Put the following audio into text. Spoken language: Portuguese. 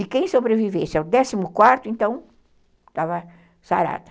E quem sobrevivesse ao décimo quarto, então, estava sarada.